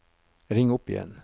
ring opp igjen